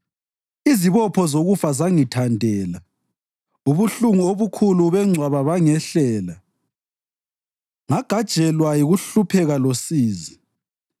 Izibopho zokufa zangithandela, ubuhlungu obukhulu bengcwaba bangehlela; ngagajelwa yikuhlupheka losizi.